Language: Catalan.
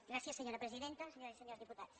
gràcies senyora presidenta senyores i senyors diputats